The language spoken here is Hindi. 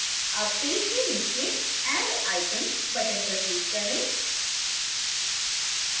add पेज के नीचे add item button पर click करें